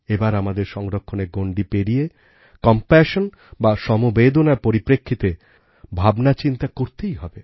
এবার আমাদের সংরক্ষণের গণ্ডি পেরিয়ে কম্প্যাশন বা সমবেদনার পরিপ্রেক্ষিতে ভাবনাচিন্তা করতেই হবে